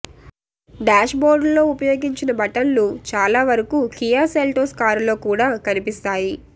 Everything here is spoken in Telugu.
డ్యాష్బోర్డులో ఉపయోగించిన బటన్లు చాలా వరకూ కియా సెల్టోస్ కారులో కూడా కనిపిస్తాయి